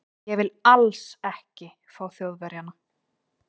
Ég vil ALLS ekki fá Þjóðverja.